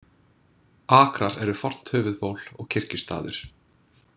Akrar eru fornt höfuðból og kirkjustaður.